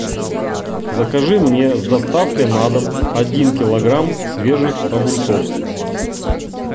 закажи мне с доставкой на дом один килограмм свежих огурцов